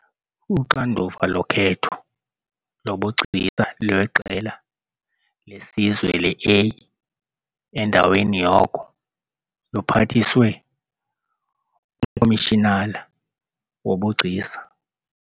Uxanduva lokhetho lobugcisa lweqela lesizwe le-A endaweni yoko luphathiswe uMkomishinala woBugcisa.